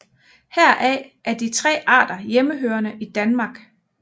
Heraf er de tre arter hjemmehørende i Danmark